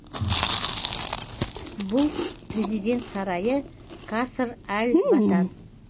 бұл президент сарайы каср әл ватан